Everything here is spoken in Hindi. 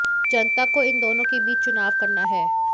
जनता को इन दोनों के बीच चुनाव करना है